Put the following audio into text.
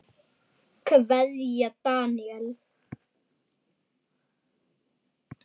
Kveðja, Daníel.